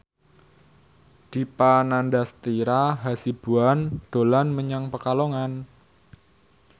Dipa Nandastyra Hasibuan dolan menyang Pekalongan